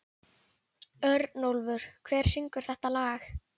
Örnólfur, hver syngur þetta lag?